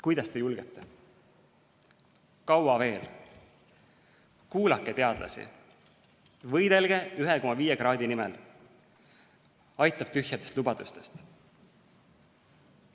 "Kuidas te julgete?", "Kaua veel?", "Kuulake teadlasi!", "Võidelge 1,5 kraadi nimel!", "Aitab tühjadest lubadustest!".